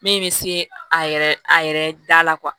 Min bɛ se a yɛrɛ a yɛrɛ da la